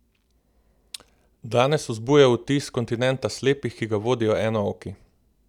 Danes vzbuja vtis kontinenta slepih, ki ga vodijo enooki.